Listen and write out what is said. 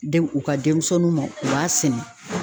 Den u ka denmisɛnninw ma u b'a sɛnɛ.